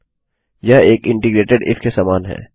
यह एक एकीकृतइन्टग्रेटिड इफ के समान है